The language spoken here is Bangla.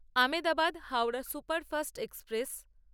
Ahmedabad Howrah superfast express